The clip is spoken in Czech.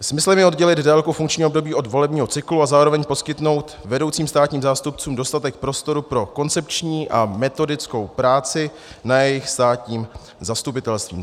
Smyslem je oddělit délku funkčního období od volebního cyklu a zároveň poskytnout vedoucím státních zástupců dostatek prostoru pro koncepční a metodickou práci na jejich státním zastupitelství.